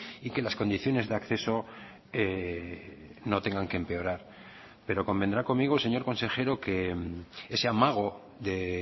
y que las condiciones de acceso no tengan que empeorar pero convendrá conmigo señor consejero que ese amago de